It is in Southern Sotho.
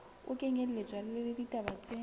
ho kenyelletswa le ditaba tse